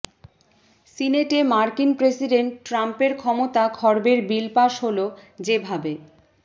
সিনেটে মার্কিন প্রেসিডেন্ট ট্রাম্পের ক্ষমতা খর্বের বিল পাস হলো যেভাবে